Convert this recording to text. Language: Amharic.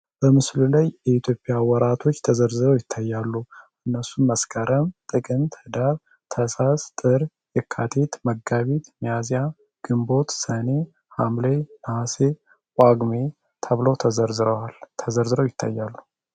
በምስሉ ላይ ኢትዮጵያ ወራቶች ተዘርዝረው ይተያሉ። እነሱም መስከረም ጥቅምት ዳር ታኅሳስ ጥር የካቲት መጋቢት መያዚያ ግንቦት ሰኔ ሃምሌ ነሐሴ ጳጉሜ ተብለው ል ተዘርዝረው ይተያሉ።